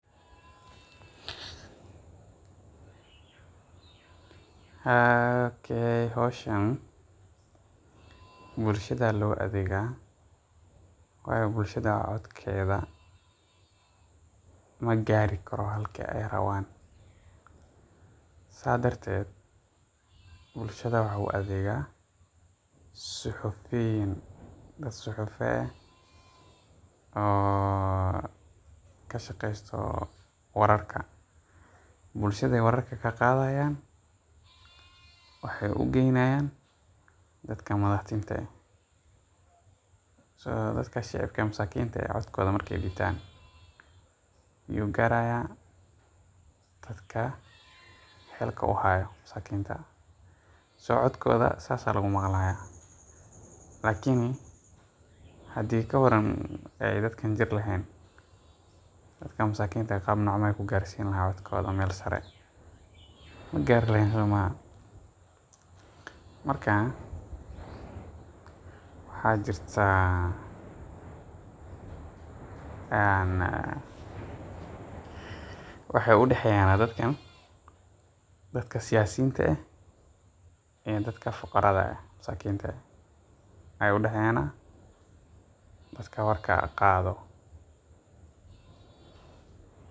okey xowshaan, bulshada loadegaa, wayo bulshada codkeda magari karo halka ay rawan, sa darted bulshada waxa u adega suhufuyin dad suhufaa eh oo kashageysto wararka, bulshada wararka kagadayan waxay ugeynayan dadka madaxdinta eh, so dadka shicibka ee masakinta codkoda markay dibtaan, igu garaya dadka hilka uhayo masakinta, so codkoda sas aya lagumaglaya lakini hadhii kawaran ay dadka jirr lahen, dadka masakinta ah gaab nocmay ugarsini lahayen codkoda mel sare, magar lehen, marka waxa jirta ann waxay udaxeyan dadkan dadka siyasinta eh iyo dadka fuqarada eh masakinta aya udaheyana, dadka warka qado.